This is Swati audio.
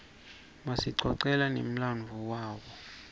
basicocela nemladvo wabo